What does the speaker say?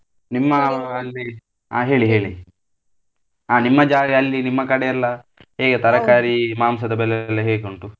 ನಿಮ್ಮ ಹಾ ಅಲ್ಲಿ ಅ ಹೇಳಿ ಹೇಳಿ ಆ ನಿಮ್ಮ ಜಾಗ ಅಲ್ಲಿ ನಿಮ್ಮ ಕಡೆ ಎಲ್ಲ ಹೇಗೆ ತರಕಾರಿ ಮಾಂಸದ ಬೆಲೆ ಎಲ್ಲ ಹೇಗುಂಟು.